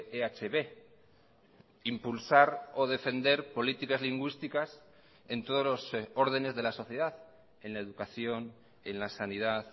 ehb impulsar o defender políticas lingüísticas en todos los ordenes de la sociedad en la educación en la sanidad